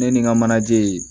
Ne ni n ka manaje